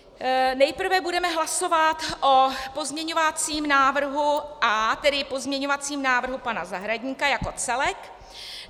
Nejprve budeme hlasovat o pozměňovacím návrhu A, tedy pozměňovacím návrhu pana Zahradníka jako celek.